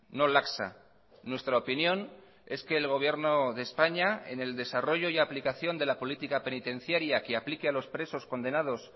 no laxa nuestra opinión es que el gobierno de españa en el desarrollo y aplicación de la política penitenciaria que aplique a los presos condenados